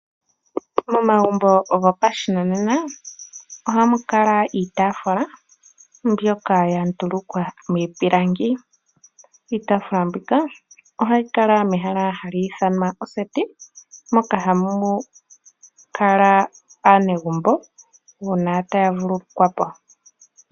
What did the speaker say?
Momagumbo gopashinanena ohamu kala iitaafula mbyoka yandulukwa miipilangi. Iitaafula mbika ohayi kala mehala hali ithanwa oseti, moka hamu kala aanegumbo uuna taya vululukwa po.